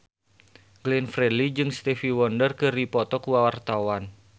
Glenn Fredly jeung Stevie Wonder keur dipoto ku wartawan